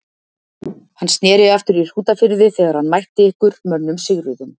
Hann sneri aftur í Hrútafirði þegar hann mætti ykkar mönnum sigruðum.